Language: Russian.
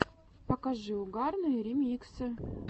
покажи угарные ремиксы